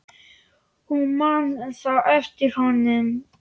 Hún man þá eftir honum.